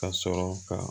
Ka sɔrɔ ka